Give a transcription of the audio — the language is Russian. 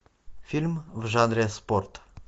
фильм в жанре спорт